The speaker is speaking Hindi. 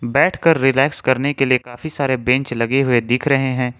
बैठकर रिलैक्स करने के लिए काफी सारे बेंच लगे हुए दिख रहे हैं।